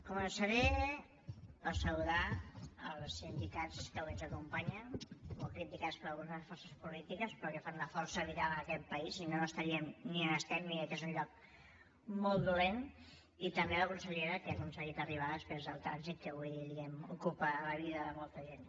començaré per saludar els sindicats que avui ens acompanyen molt criticats per algunes de les forces polítiques però que fan una força vital en aquest país si no no estaríem ni on estem i mira que és un lloc molt dolent i també la consellera que ha aconseguit arribar després del trànsit que avui diguem ne ocupa la vida de molta gent